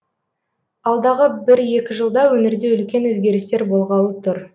алдағы бір екі жылда өңірде үлкен өзгерістер болғалы тұр